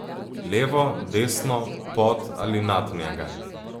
Levo, desno, pod ali nad njega?